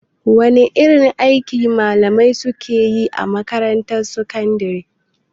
Wane irin aiki malamai suke yi a makarantar sakandare?